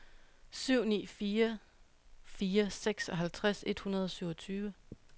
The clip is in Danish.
syv ni fire fire seksoghalvtreds et hundrede og syvogtyve